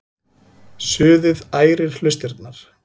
Suðið ærir hlustirnar.